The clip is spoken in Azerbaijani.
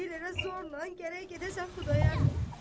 Deyir ələ zorla gərək gedəsən Xudayar bəyə.